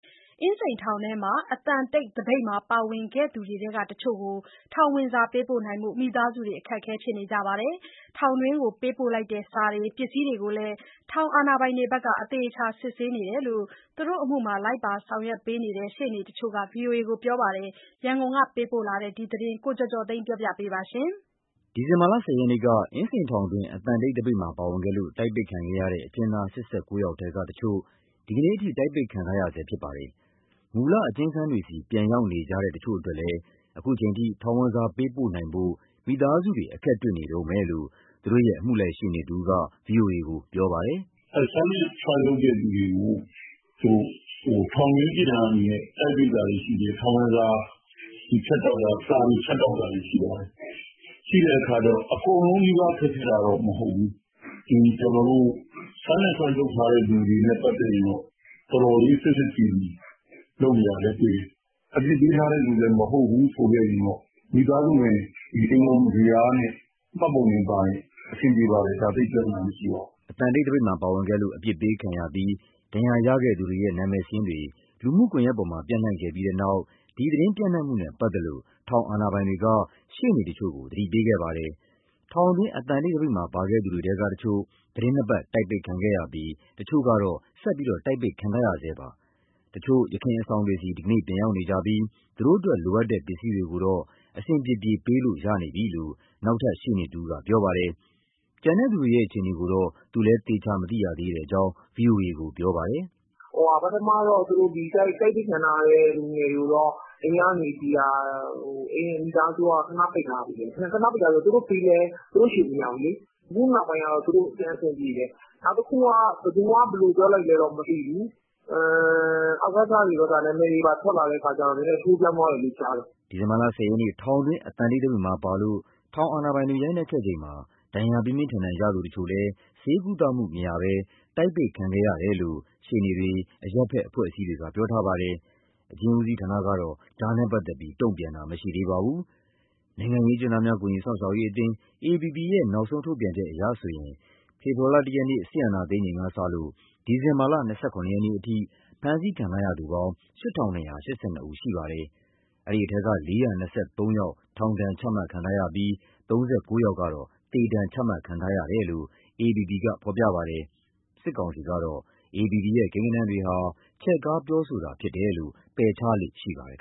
အင်းစိန်ထောင်တွင်း အသံတိတ်သပိတ်မှာ ပါဝင်ခဲ့သူတွေထဲကတချို့ကို ထောင်ဝင်စာပေးနိုင်ဖို့ မိသားစုတွေ အခက်အခဲဖြစ်နေပါတယ်။ ထောင်တွင်းကို ပေးပို့လိုက်တဲ့ စာတွေ၊ ပစ္စည်းတွေကိုလည်း ထောင်အာဏာပိုင်တွေက အသေအချာစစ်ဆေးနေတယ်လို့ သူတို့အမှုမှာ လိုက်ပါဆောင်ရွက်နေတဲ့ ရှေ့နေတချို့က ဗွီအိုအေကို ပြောပါတယ်။ ရန်ကုန်က ပေးပို့တဲ့ ဒီသတင်းကိုတော့ ကိုကျော်ကျော်သိန်းက တင်ပြပေးထားပါတယ်။ ဒီဇင်ဘာ ၁၀ ရက်က အင်းစိန်ထောင်တွင်း အသံတိတ်သပိတ်မှာပါဝင်ခဲ့လို့ တိုက်ပိတ်ခံခဲ့ရတဲ့ အကျဉ်းသား ၈၉ ယောက်ထဲက တချို့ ဒီနေ့အထိ တိုက်ပိတ်ခံထားရဆဲဖြစ်ပါတယ်။ မူလ အကျဉ်းခန်းတွေဆီ ပြန်ရောက်နေကြတဲ့တချို့အတွက်လည်း ခုချိန်ထိ ထောင်ဝင်စာ ပေးပို့နိုင်ဖို့ မိသားစုတွေ အခက်တွေ့နေတုန်းပဲလို့ သူတို့ရဲ့အမှုလိုက်ရှေ့နေတဦးက ဗွီအိုအေကို ပြောပါတယ်။ “အဲဒီ silent strike လုပ်တဲ့သူတွေကိုထောင်တွင်းပြစ်ဒဏ်အနေနဲ့ တိုက်ပိတ်တာတွေရှိတယ်၊ ထောင်ဝင် စာ ဖြတ်တောက်တာ၊ စာတွေ ဖြတ်တောက်တာတွေ ရှိပါတယ်။ အကုန်လုံးနီးပါး ခက်ခဲတာတော့မဟုတ်ဘူး၊ silent strike လုပ်ထားတဲ့သူတွေနဲ့ ပတ်သက်ရင်တော့ တော်တော်လေး စစ်စစ်စီစီ လုပ်နေတာလည်းတွေ့တယ်။” အသံတိတ်သပိတ်မှာပါဝင်ခဲ့လို့ အပြစ်ပေးခံရပြီး ဒဏ်ရာရခဲ့သူတွေရဲ့ နာမည်စာရင်းတွေ လူမှုကွန်ရက်ပေါ်မှာ ပျံ့နှံ့ခဲ့တဲ့နောက် ဒီသတင်းပျံ့နှံ့မှုနဲ့ပတ်သက်လို့ ထောင်အာဏာပိုင်တွေက တချို့ရှေ့နေတွေကို သတိပေးခဲ့ပါတယ်။ ထောင်တွင်း အသံတိတ်သပိတ်မှာပါခဲ့သူတွေထဲက တချို့ သီတင်း ၂ ပတ် တိုက်ပိတ်ခံခဲ့ရပြီး တချို့ ကတော့ ဆက်တိုက်ပိတ်ခံနေရပါတယ်။ တချို့က ယခင်အဆောင်တွေဆီ ဒီနေ့ပြန်ရောက်နေကြပြီး သူ့တို့အတွက်လိုအပ်တဲ့ ပစ္စည်းတွေကိုတော့ အဆင်ပြေပြေ ပေးလို့ရနေပြီလို့ နောက်ထပ် ရှေ့နေတဦးက ပြောပါတယ်။ ကျန်တဲ့သူတွေရဲ့ အခြေအနေကိုတော့ သူလည်းသေချာ မသိရသေးကြောင်း ဗွီအိုအေကို ပြောပါတယ်။ “ပထမတော့ တိုက်ပိတ်ခံထားရတဲ့ လူငယ်တွေကိုတော့ အိမ်မိသားစုကို ခဏပိတ်ထားတယ်၊ သူတို့ပေးလည်း သူတို့ဆီမရောက်ဘူးလေ။ အခုနောက်ပိုင်းတော့ သူတို့ပြန်အဆင်ပြေတယ်။ နောက် တခုက ဘယ်သူက ဘယ်လိုပြောလိုက်လဲတော့မသိဘူး။ အကစ နာမည်တွေပါ ထွက်လာတဲ့အခါကျတော့ နည်းနည်း အချိုးပြောင်းသွားတယ်လို့ ကြားတယ်။” ဒီဇင်ဘာ ၁၀ ရက် ထောင်တွင်း အသံတိတ်သပိတ်မှာပါလို့ ထောင်အာဏာပိုင်တွေ ရိုက်နှက်ခဲ့ချိန်မှာ ဒဏ်ရာ ပြင်းပြင်းထန်ထန်ရသူ တချို့လည်း ဆေးကုသမှုမရဘဲ တိုက်ပိတ်ခံခဲ့ရတယ်လို့ ရှေ့နေတွေ၊ အရပ်ဘက်အဖွဲ့အစည်းတွေက ပြောထားပါတယ်။ အကျဉ်းဦးစီးဘက်ကတော့ ဒါနဲ့ပတ်သက်ပြီး တုံ့ပြန်တာ မရှိသေးပါဘူး။ နိုင်ငံရေးအကျဉ်းသားများ ကူညီစောင့်ရှောက်ရေးအသင်း AAPP ရဲ့ နောက်ဆုံးထုတ်ပြန် ချက်အရဆိုရင် ဖေဖော်ဝါရီ ၁ ရက် စစ်အာဏာသိမ်းချိန်ကစလို့ ဒီဇင်ဘာ ၂၇ ရက်နေ့ အထိ ဖမ်းဆီးခံရသူစုစုပေါင်း ၈၂၈၂ ဦးရှိပါတယ်။ အဲဒီအထဲက ၄၂၃ ယောက်က ထောင်ဒဏ်ချမှတ်ခံထားရပြီး ၃၉ ယောက် ကတော့ သေဒဏ်ချမှတ်ခံထားရတယ်လို့ AAPP ကဖော်ပြပါတယ်။ စစ်ကောင်စီကတော့ AAPP ရဲ့ကိန်းဂဏန်းတွေဟာ ချဲ့ကားပြောတာဖြစ်တယ်လို့ ပယ်ချလေ့ရှိပါတယ်